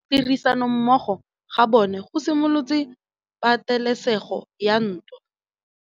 Go tlhoka tirsanommogo ga bone go simolotse patêlêsêgô ya ntwa.